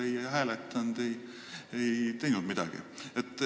Me ei hääletanud, ei teinud seal midagi.